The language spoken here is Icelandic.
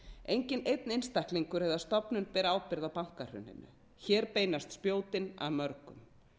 enginn einn einstaklingur eða stofnun ber ábyrgð á bankahruninu hér beinast spjótin að mörgum